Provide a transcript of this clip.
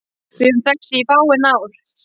Við höfum þekkst í fáein ár